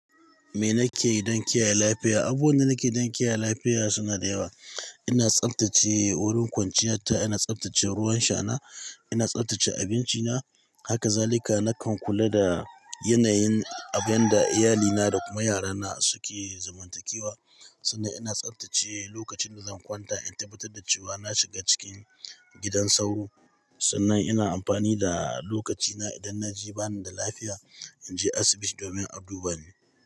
Me nake yi don kiyaye lafiya? Abuwa na nake yi don kiyaye lafiya suna da yawa. Ina tsaftace wurin kwanciya ta, ina tsaftace ruwan shana, ina tsaftace abinci na. Haka zalika nakan kula da yanayin abun da iyalina da kuma yarana suke zumuntakewa, sannan ina tsaftace lokacin da zan kwanta. In tabbatar da cewa na shiga cikin gidan sauro sannan ina amfani da lokaci na idan na ji bani da lafiya in je asibiti domin aduba ni.